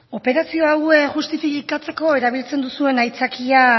operazio hauek justifikatzeko erabiltzen duzuen aitzakia